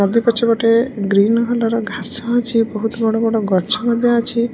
Market ପଛ ପଟେ green colour ଘାସ ଅଛି ବହୁତ୍ ବଡ଼ ବଡ଼ ଗଛ ଏରା ଅଛି।